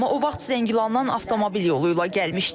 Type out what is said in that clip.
Amma o vaxt Zəngilandan avtomobil yolu ilə gəlmişdik.